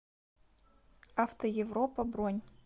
автоевропа бронь